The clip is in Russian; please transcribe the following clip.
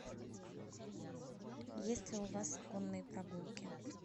есть ли у вас конные прогулки